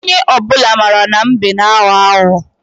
Onye obuna mara na mbe n agho agho.